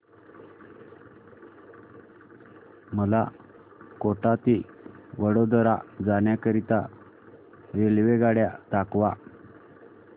मला कोटा ते वडोदरा जाण्या करीता रेल्वेगाड्या दाखवा